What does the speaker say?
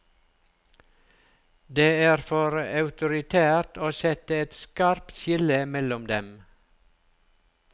Det er for autoritært å sette et skarpt skille mellom dem.